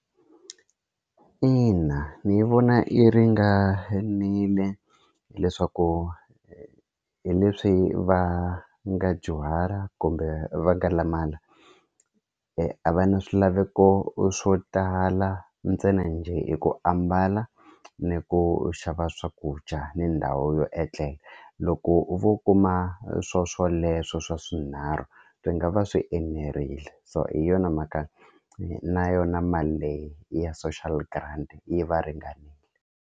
Ina ni yi vona yi ringanile hileswaku hi leswi va nga dyuhala kumbe va nga limala a va na swilaveko swo tala ntsena njhe i ku ambala ni ku xava swakudya ni ndhawu yo etlela loko u vo kuma swoswoleswo swa swinharhu swi nga va swi enerile so hi yona mhaka na yona mali leyi ya social grant yi va ringanile.